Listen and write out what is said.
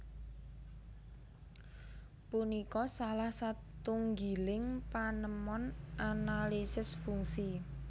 Punika salah satunggiling panemon analisis fungsi